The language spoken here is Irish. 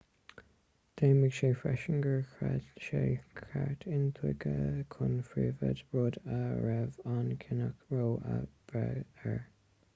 dheimhnigh sé freisin gur chreid sé sa cheart intuigthe chun príobháide rud a raibh an cinneadh roe ag brath air